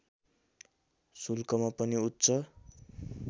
शुल्कमा पनि उच्च